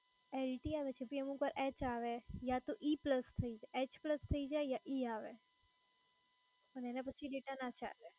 LTE આવે છે કે પછી અમુક વાર એચ આવે યા તો ઈ પ્લસ થઈ એચ પ્લસ થઈ જાય યા ઈ આવે અને એના પછી data ના ચાલે.